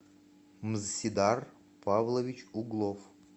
мзсидар павлович углов